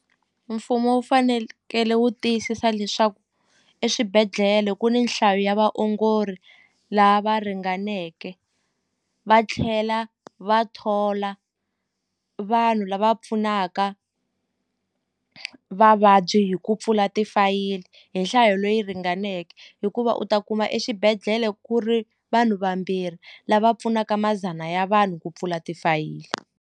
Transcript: Mfumo wu wu tiyisisa leswaku eswibedhlele ku ni nhlayo ya vaongori lava ringaneke va tlhela va thola vanhu lava pfunaka vavabyi hi ku pfula tifayili hi nhlayo leyi ringaneke hikuva u ta kuma exibedhlele ku ri vanhu vambirhi lava pfunaka madzana ya vanhu ku pfula tifayili.